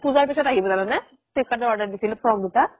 পুজাৰ পিছত আহিব জানানে ফ্লিপ্কাৰ্ত order দিছিলো frock দুটা